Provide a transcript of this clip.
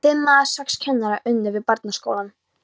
Fimm eða sex kennarar unnu við barnaskólann.